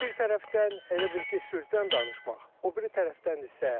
Bir tərəfdən elə bil ki, sülhdən danışmaq, o biri tərəfdən isə,